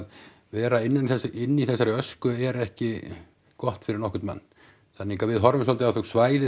vera inni í þessari ösku er ekki gott fyrir nokkurn mann þannig að við horfum svolítið á þau svæði